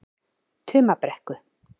Tumabrekku